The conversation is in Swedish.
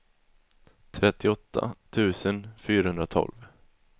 trettioåtta tusen fyrahundratolv